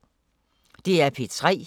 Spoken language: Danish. DR P3